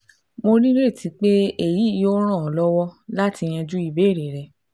Mo nireti pe eyi yoo ran ọ lọwọ lati yanju ibeere rẹ